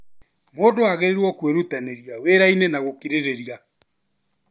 Mũndũ agĩrĩirwo kwĩrutanĩria wĩrainĩ na gũkirĩrĩria.